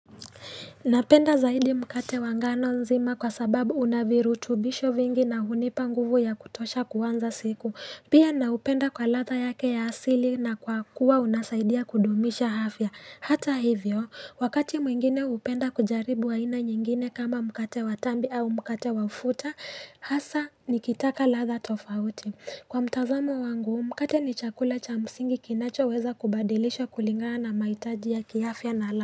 Napenda zaidi mkate wangano nzima kwa sababu unavirutubisho vingi na hunipa nguvu ya kutosha kuanza siku. Pia naupenda kwa ladha yake ya asili na kwa kuwa unasaidia kudumisha afya. Hata hivyo, wakati mwingine hupenda kujaribu aina nyingine kama mkate watambi au mkate wafuta, hasa nikitaka ladha tofauti. Kwa mtazamo wangu, mkate ni chakula cha msingi kinacho weza kubadilisha kulingana na mahitaji ya kiafya na ladha.